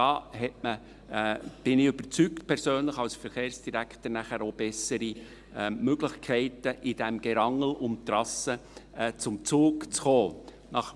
Da hat man – davon bin ich persönlich überzeugt – als Verkehrsdirektor nachher auch bessere Möglichkeiten, in diesem Gerangel um die Trassen zum Zug zu kommen.